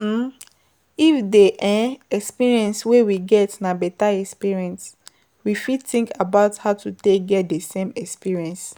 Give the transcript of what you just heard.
um If di um experience wey we get na better experience we fit think about how to take get the same experience